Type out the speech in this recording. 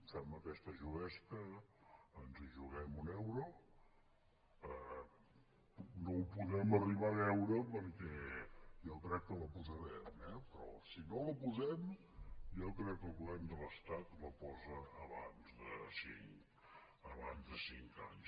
fem aquesta juguesca ens hi juguem un euro no ho podrem arribar a veure perquè jo crec que la posarem eh però si no la posem jo crec que el govern de l’estat la posa abans de cinc anys